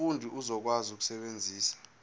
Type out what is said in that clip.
umfundi uzokwazi ukusebenzisa